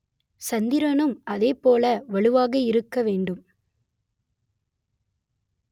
சந்திரனும் அதேபோல வலுவாக இருக்க வேண்டும்